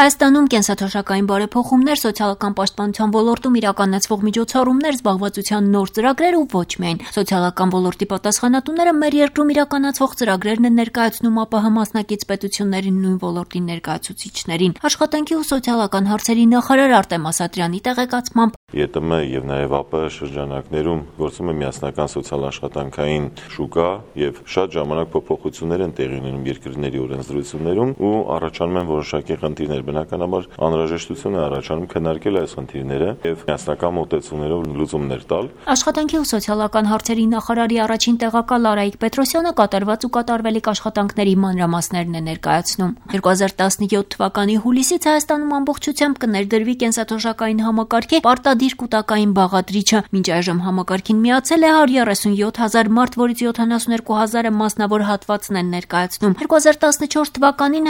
Հայաստանում կենսաթոշակային բարեփոխումներ, սոցիալական պաշտապնության ոլորտում իրականացվող միջոցառումներ, զբաղվածության նոր ծրագրեր և ոչ միայն: Սոցիալական ոլորտի պատասխանատուները մեր երկրում իրականցվող ծրագրերն են ներկայացնում ԱՊՀ մասնակից պետությունների նույն ոլորտի ներկայացուցիչներին: Աշխատանքի ու սոցիալական հարցերի նախարար Արտեմ Ասատրյանի տեղեկացմամբ՝ «ԵՏՄ և ԱՊՀ շրջանակներում գործում է միասնական սոցիալական աշխատանքային շուկա, շատ ժամանակ փոփոխությունենր են տեղի ունենում երկրների օրենսդրությունում, առաջանում են որոշակի խնդիրներ: Այս խնդիրները քննարկելու անհրաժեշտություն է առաջանում և միասնական մոտեցումներով լուծումենր տալ»: Աշխատանքի ու սոցիալական հարցերի նախարարի առաջին տեղակալ Արայիկ Պետրոսյանը կատարված ու կատարվելիք աշխատանքների մանրամասներն է ներկայացում: 2017 հուլիսից Հայաստանում ամբողջությամբ կներդրվի կենսաթոշակային համակարգի պարտադիր կուտակային բաղադրիչը, մինչ այժմ համակարգին միացել է 137 հազար մարդ, որից 72 հազարը մասնավոր հատվածն են ներկայացնում: 2014թ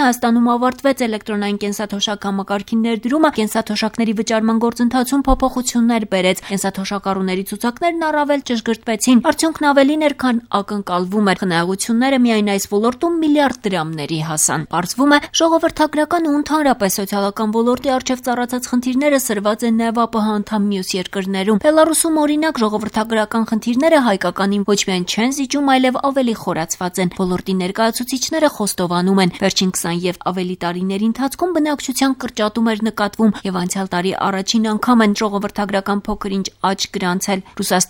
Հայաստանում ավարտվեց էլեկտրոնային կենսաթոշակ համակարգի ենրդրումը, որը կենսաթշակների վճարման գործընթացում փոփոխություններ բերեց, կենսաթոշակառուների ցուցակներն առավել ճշգրտվեցին: Արդյունքն ավելին էր, քան ակնկալվում էր, խնայողությունները միայն այս ոլորտում միլիարդ դրամների հասան: Պարզվում է՝ ժողովրդագրական ու ընդհանրապես սոցիալական ոլորտի առջև ծառացած խնդիրները սրված են նաև ԱՊՀ անդամ մյուս երկրներում: Բելառուսում օրինակ, ժողովրդագրական խնդիրները հայկականին ոչ միայն չեն զիջում, այլև ավելի խորացված են: Ոլորտի ներկայացուցիչները խոստովանում են՝ վերջին քսան և ավելի տարիների ընթացքում բնակչության կրճատում էր նկատվում, և անցյալ տարի առաջին ագամ են ժողովրդագրական փոքր -ինչ աճ գրանցել: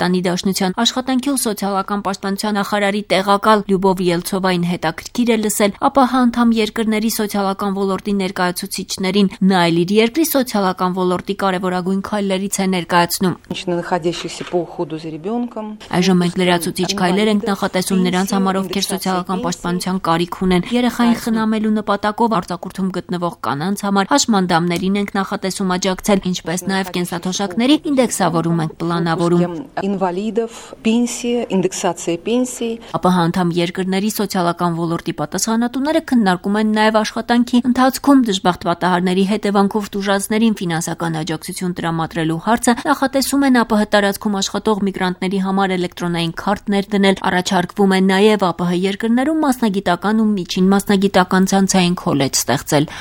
Առաջին անգամ 2014թ բացասական միգրացիայի ֆոնի վրա ծնունդների աճ է գրանցվել նաև այս երկրում: Ռուսաստանի Դաշնության Աշխատանքի և սոցիալական պաշտպանության նախարարի տեղակալ Լյուբով Ելցովային հետաքրքիր է լսել ԱՊՀ անդամ երկրների սոցիալական ոլորտի ներկայացուցիչներին: Նա էլ իր երկրի սոցիալական ոլորտի կարևորագույններ քայլերից է ներկայացնում. «Այժմ մենք լրացուցիչ քայլեր ենք նախատեսում նրանց համար, ովքեր սոցիալական պաշպանպության կարքի ունեք, երեխային խնամելու նպատակով արձակուրդում գտնվող կանանց համար, հաշմանդամներին ենք նախատեսում աջակցել, ինչպես նաև կենսաթոշակների ինդեքսավորում ենք պլանավորում»: ԱՊՀ անդամ երկրների սոցիալական ոլորտի պատասխանատուները քննարկում են նաև աշխատանքի ընթացքում դժբախտ պատահարների հետևանքով տուժածներին ֆինանսական աջակցություն տրամադրելու հարցը, նախատեսում են ԱՊՀ տարածքում աշխատող միգրանտների համար էլեկտրոնային քարտ ներդնել: Առաջարկվում է նաև ԱՊՀ երկրներում մասնագիտական ու միջին մասնագիտական ցանցային քոլեջ ստեղծել: